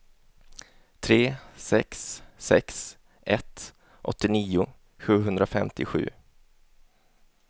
tre sex sex ett åttionio sjuhundrafemtiosju